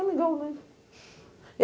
Amigão, né?